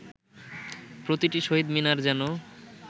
প্রতিটি শহীদ মিনার যেন